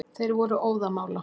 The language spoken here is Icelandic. Þeir voru óðamála.